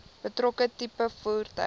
betrokke tipe voertuig